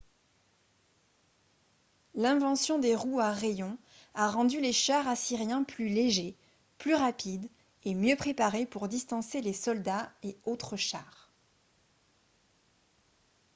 l'invention des roues à rayons a rendu les chars assyriens plus légers plus rapides et mieux préparés pour distancer les soldats et autres chars